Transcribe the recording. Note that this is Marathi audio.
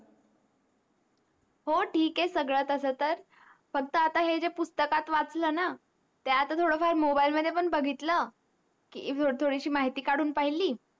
हो ठीक आहे सगड तस तर फक्त आता हे जे पुस्तकात वाचल न ते आता थोड फार मोबाइल मध्ये पण बघितल की थोडीशी माहिती कडून पहिली